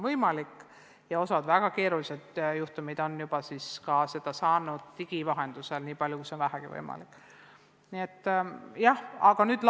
Mõningate väga keeruliste juhtumite puhul on seda tuge digitaalsel teel ka pakutud, nii palju kui see vähegi võimalik on olnud.